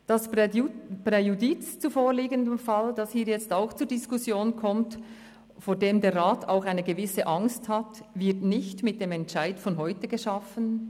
Das Präjudiz zum vorliegenden Fall, welches hier ebenfalls zur Diskussion kommt, und vor dem der Rat auch eine gewisse Angst hat, wird nicht mit dem Entscheid von heute geschaffen.